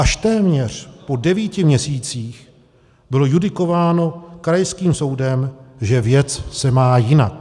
Až téměř po devíti měsících bylo judikováno krajským soudem, že věc se má jinak.